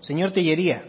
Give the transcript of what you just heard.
señor tellería